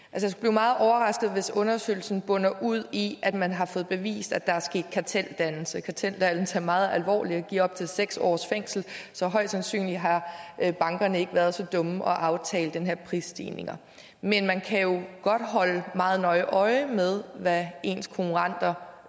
meget overrasket hvis undersøgelsen munder ud i at man har fået bevist at der er sket karteldannelse karteldannelse er meget alvorligt give op til seks års fængsel så højst sandsynligt har bankerne ikke været så dumme at aftale den her prisstigning men man kan jo godt holde meget nøje øje med hvad ens konkurrenter